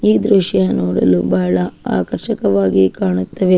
ಈ ದೃಶ್ಯ ನೋಡಲು ಬಹಳ ಆಕರ್ಷಕವಾಗಿ ಕಾಣುತ್ತವೆ.